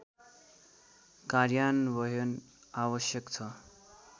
कार्यान्वयन आवश्यक छ